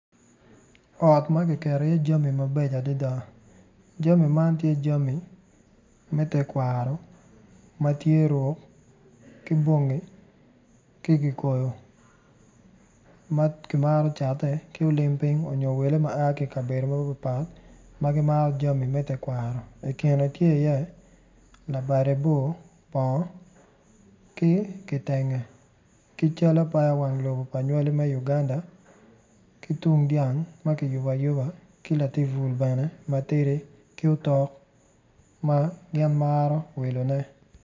Ot makiketo i ye jami mabeco adada jami man tye jami me tekwaro matye roo ki bongi ki kikoyi ma kimaro catone ki olim piny onyo wele ma aa ki kabedo mapat pat ma gimaro jami me tekwaro i kine tye i ye labade bor bongo ki kitenge ki cal apaya wang lobo me Uganda ki tung dyang makiyubo ayuba ki latin bul bene matidi ki otok ma gin maro wilone.